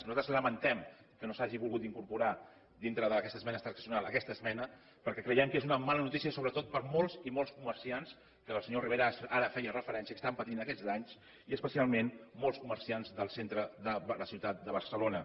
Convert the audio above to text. nosaltres lamentem que no s’hagi volgut incorporar dintre d’aquesta esmena transaccional aquesta esmena perquè creiem que és una mala notícia sobretot per a molts i molts comerciants als quals el senyor rivera ara feia referència que estaven patint aquests danys i especialment molts comerciants del centre de la ciutat de barcelona